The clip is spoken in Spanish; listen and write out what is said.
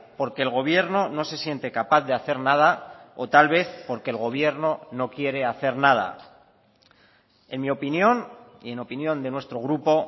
porque el gobierno no se siente capaz de hacer nada o tal vez porque el gobierno no quiere hacer nada en mi opinión y en opinión de nuestro grupo